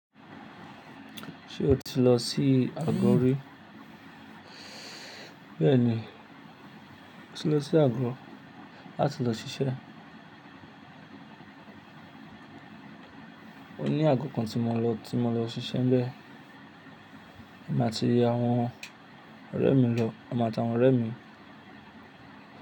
Ṣé o ti lọ sí Àgọ̀ rí? Bẹ́ẹ̀ni, mo ti lọ sí Àgọ̀ láti lọ ṣiṣẹ́. Ó ní àgo kan tí mo lọ, tí mo lọ ṣiṣẹ́ ńbẹ. Èmi àti iye àwọn ọ̀rẹ́ mi lọ, èmi àtàwọn ọ̀rẹ́ mi.